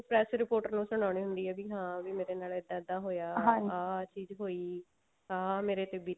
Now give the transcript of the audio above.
press reporter ਨੂੰ ਸੁਨਾਣੀ ਹੁੰਦੀ ਆ ਵੀ ਹਾਂ ਵੀ ਮੇਰੇ ਨਾਲ ਇੱਦਾਂ ਆਹ ਚੀਜ਼ ਹੋਈ ਆਹ ਮੇਰੇ ਤੇ ਬੀਤੀ